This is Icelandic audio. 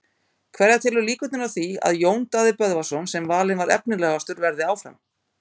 Hverja telurðu líkurnar á því að Jón Daði Böðvarsson sem valinn var efnilegastur verði áfram?